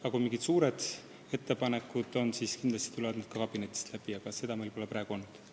Kui oleks mingid suured ettepanekud, siis tuleksid need kindlasti ka kabinetist läbi, aga seda pole seni olnud.